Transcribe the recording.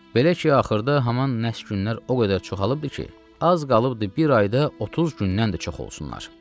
Belə ki, axırda haman nəhs günlər o qədər çoxalıbdır ki, az qalıbdır bir ayda 30 gündən də çox olsunlar.